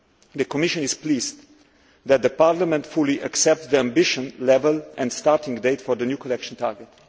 The Commission is pleased that Parliament fully accepts the ambition level and starting date for the new collection target.